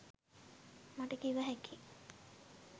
මට කිව හැකියි.